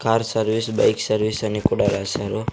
Car service bike service అని కూడా రాశారు.